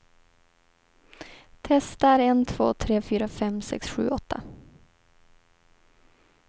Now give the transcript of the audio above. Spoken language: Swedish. Testar en två tre fyra fem sex sju åtta.